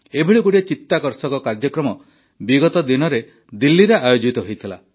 ଏଭଳି ଗୋଟିଏ ଚିତାକର୍ଷକ କାର୍ଯ୍ୟକ୍ରମ ବିଗତ ଦିନରେ ଦିଲ୍ଲୀରେ ଆୟୋଜିତ ହୋଇଥିଲା